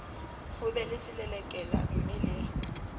ho be le selelekela mmele